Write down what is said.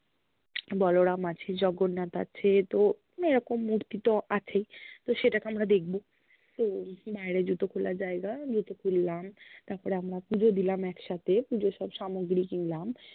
বলরাম আছে, জগন্নাথ আছে, তো এরকম মূর্তি তো অছেই তো সেটাকে আমরা দেখব তো, বাইরে জুতো খোলার জায়গা, জুতো খুললাম তারপরে আমরা পুজো দিলাম একসথে, পুজোর সব সামোগ্রি কিন্লাম